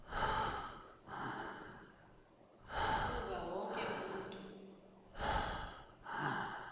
kuba wonke umntu